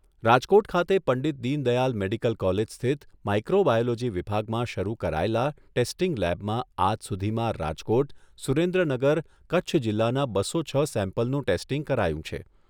રાજકોટ ખાતે Pandit Deendayal medical college સ્થિત microbiology વિભાગમાં શરૂ કરાયેલા ટેસ્ટીંગ લેબમાં આજ સુધીમાં રાજકોટ, સુરેન્દ્રનગર, કચ્છ જિલ્લાના બસો છ સેમ્પલનું ટેસ્ટીંગ કરાયું છે.